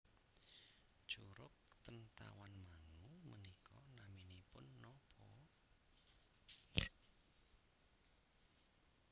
Curug ten Tawangmangu menika naminipun nopo